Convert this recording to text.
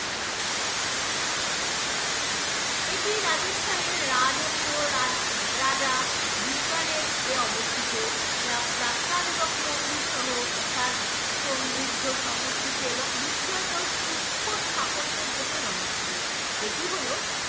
এটি রাজস্থানের রাজকীয় রাজা বিজ্ঞানের এ অবস্থিত যা প্রাসাদ এবং তার মন্দির সহ তার সমৃদ্ধ সংস্কৃতি এবং বিস্ময়কর সুক্ষ স্থাপত্যের জন্য জনপ্রিয় এটি হলো